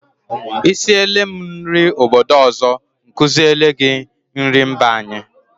Ị siele m nri obodo ọzọ, m kuziele gị nrị mba anyị.